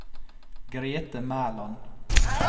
Grethe Mæland